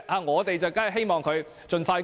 我們當然希望盡快通過。